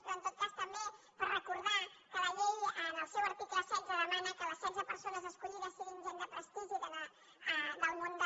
però en tot cas també per recordar que la llei en el seu article setze demana que les setze persones escollides siguin gent de prestigi del món de